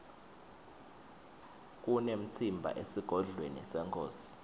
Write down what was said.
kunemtsimba esigodlweni senkhosi